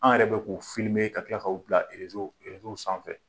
An yɛrɛ bɛ k'u filmé ka tila k'u bila reseau sanfɛ